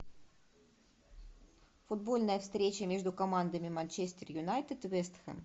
футбольная встреча между командами манчестер юнайтед вест хэм